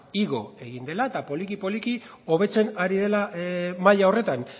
igo egin dela eta poliki poliki hobetzen ari dela maila horretan